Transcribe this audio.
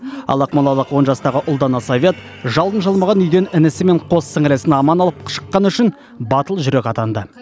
ал ақмолалық он жастағы ұлдана совет жалын жалмаған үйден інісі мен қос сіңлісін аман алып шыққаны үшін батыл жүрек атанды